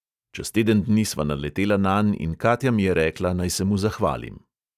Čez teden dni sva naletela nanj in katja mi je rekla, naj se mu zahvalim.